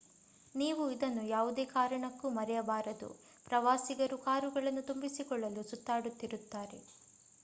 ನೀವು ಇದನ್ನು ಯಾವುದೇ ಕಾರಣಕ್ಕೂ ಮರೆಯಬಾರದು ಪ್ರವಾಸಿಗರು ಕಾರುಗಳನ್ನು ತುಂಬಿಸಿಕೊಳ್ಳಲು ಸುತ್ತಾಡುತ್ತಿರುತ್ತಾರೆ